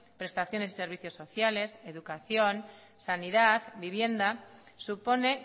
prestaciones y servicios sociales educación sanidad vivienda supone